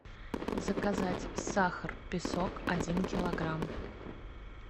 заказать сахар песок один килограмм